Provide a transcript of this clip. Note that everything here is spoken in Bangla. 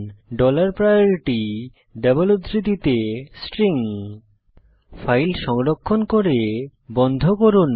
ডলার প্রায়োরিটি ডবল উদ্ধৃতিতে স্ট্রিং ফাইল সংরক্ষণ করে বন্ধ করুন